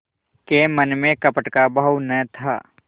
के मन में कपट का भाव न था